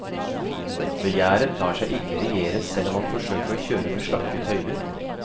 Begjæret lar seg ikke regjere selv om man forsøker å kjøre med slakke tøyler.